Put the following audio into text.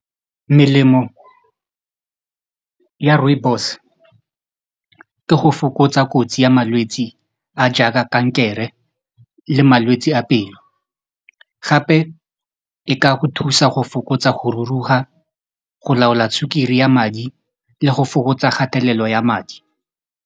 Melemo ya rooibos ke go fokotsa kotsi ya malwetsi a jaaka kankere le malwetsi a pelo gape e ka go thusa go fokotsa go ruruga go laola sukiri ya madi le go fokotsa kgatelelo ya madi.